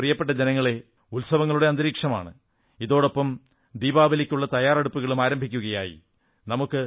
പ്രിയപ്പെട്ട ജനങ്ങളേ ഉത്സവങ്ങളുടെ അന്തരീക്ഷമാണ് ഇതോടൊപ്പം ദീപാവലിക്കുള്ള തയ്യാറെടുപ്പുകളും ആരംഭിക്കയായി